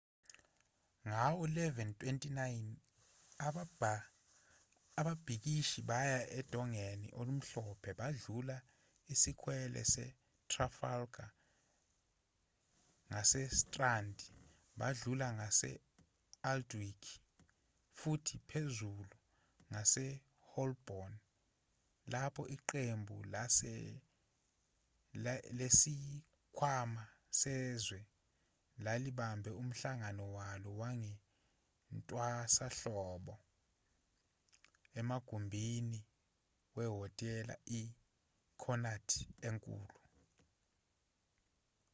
ngawo-11:29 ababhikishi baya odongeni olumhlophe badlula isikwele sasetrafalgar ngasestrand badlula ngase-aldwych futhi phezulu ngaseholborn lapho iqembu lesikhwama sezwe lalibambe umhlangano walo wasentwasahlobo emagumbini wehhotela i-connaught enkulu